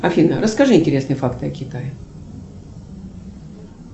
афина расскажи интересные факты о китае